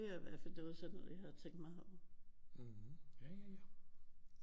Det var i hvert fald noget det var sådan noget jeg havde tænkt mig